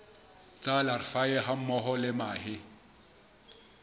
tsa larvae hammoho le mahe